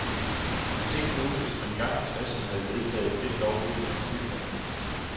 Men tænk nu, hvis man engang i tresserne havde vedtaget lidt lovgivning om bykerner.